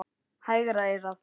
Hægra eyrað.